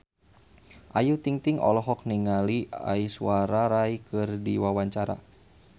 Ayu Ting-ting olohok ningali Aishwarya Rai keur diwawancara